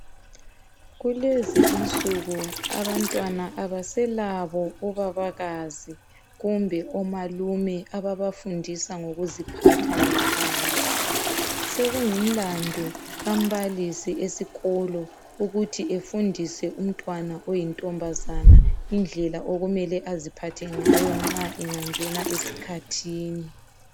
Kulezinsuku abantwana abaselabo obabakazi kumbe omalume ababafundisa ngokuziphatha ngekhaya sekingumlandu kambalisi esikolo ukuthi befundise umntwana oyintombazane indlela okumele aziphathe ngayo nxa engangena esikhathini.